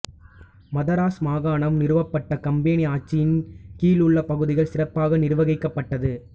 மதராஸ் மாகாணம் நிறுவப்பட்டு கம்பனி ஆட்சியின் கீழுள்ள பகுதிகள் சிறப்பாக நிர்வகிக்கப்பட்டது